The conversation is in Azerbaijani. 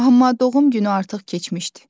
Amma doğum günü artıq keçmişdi.